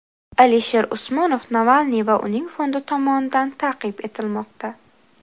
Alisher Usmonov Navalniy va uning fondi tomonidan ta’qib etilmoqda.